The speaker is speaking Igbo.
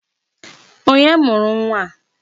Onye mụrụ nwa a?